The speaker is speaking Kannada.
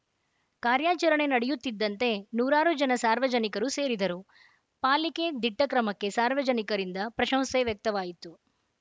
ಕಾರ್ಯಾಚರಣೆ ನಡೆಯುತ್ತಿದ್ದಂತೆ ನೂರಾರು ಜನ ಸಾರ್ವಜನಿಕರು ಸೇರಿದರು ಪಾಲಿಕೆ ದಿಟ್ಟಕ್ರಮಕ್ಕೆ ಸಾರ್ವಜನಿಕರಿಂದ ಪ್ರಶಂಶೆ ವ್ಯಕ್ತವಾಯಿತು